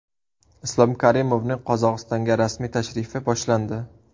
Islom Karimovning Qozog‘istonga rasmiy tashrifi boshlandi.